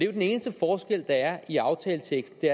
jo den eneste forskel der er i aftaleteksten